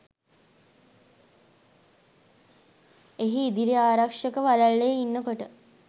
එහි ඉදිරි ආරක්ෂක වළල්ලේ ඉන්නකොට